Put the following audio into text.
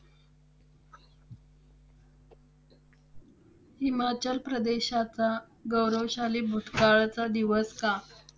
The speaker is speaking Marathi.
हिमाचल प्रदेशाचा गौरवशाली भूतकाळाचा दिवस का